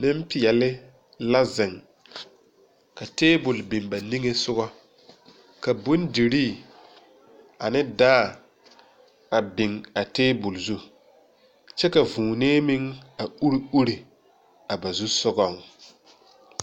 Neŋpeɛɛle la zeŋ ka tabol biŋ ba niŋesugɔ ka bondirii ane dãã a biŋ a tabol zu kyɛ ka vūūnee meŋ a ure ure a ba zusugɔŋ.